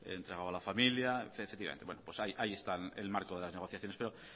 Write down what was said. que ha entregado a la familia etcétera pues ahí está el marco de las negociaciones pero